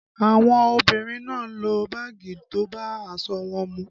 Àwọn obìnrin náà lo báàgì tó bá aṣọ wọn mu